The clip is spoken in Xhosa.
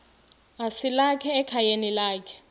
esalika ekhayeni lakhe